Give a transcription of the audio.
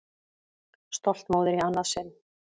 Stolt móðir í annað sinn.